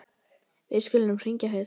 Við skulum hringja fyrst.